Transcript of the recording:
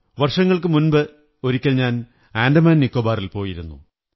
വര്ഷതങ്ങള്ക്കുശ മുമ്പ് ഒരിക്കൽ ഞാൻ അന്ഡാമാൻ നികോബാറിൽ പോയിരുന്നു